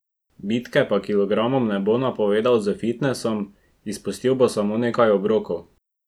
Bitke pa kilogramom ne bo napovedal s fitnesom, izpustil bo samo nekaj obrokov.